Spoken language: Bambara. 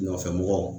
Nɔfɛ mɔgɔ